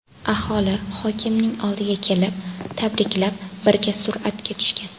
Aholi hokimning oldiga kelib, tabriklab, birga suratga tushgan.